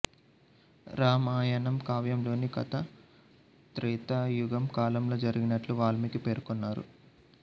రామాయణం కావ్యంలోని కథ త్రేతాయుగం కాలంలో జరిగినట్లు వాల్మీకి పేర్కొన్నారు